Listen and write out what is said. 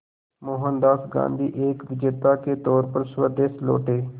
मोहनदास गांधी एक विजेता के तौर पर स्वदेश लौटे